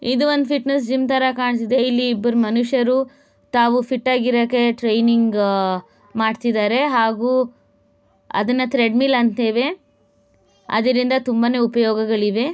ಇದುವೊಂದು fitness gym ತರ ಕಾಣ್ತಾ ಇದೆ. ಇಲ್ಲಿ ಇಬ್ಬ್ರು ಮನುಷ್ಯರು ತಾವು ಫಿಟ್ ಆಗಿ ಇರಕ್ಕೆ ಟ್ರೈನಿಂಗ್ ಮಾಡ್ತಿದ್ದಾರೆ. ಹಾಗೂ ಅದನ್ನ ಥ್ರೆಡ್ ಮಿಲ್ ಅಂತೇವೆ ಅದ್ರಿಂದ ತುಂಬಾನೇ ಉಪಯೋಗಗಳಿವೆ .